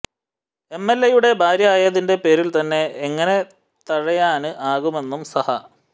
എംഎല്എയുടെ ഭാര്യ ആയതിന്റെ പേരില് തന്നെ എങ്ങനെ തഴയാന് ആകുമെന്നും സഹ